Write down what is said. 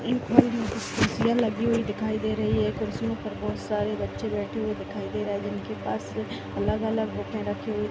इन पर कुछ कुर्सिया लगी हुई दिखाई दे रही है कुर्सियों पर बहुत सारे बच्चे बैठे हुए दिखाई दे रहे है जिन के पास अलग-अलग बुके रखे हुए --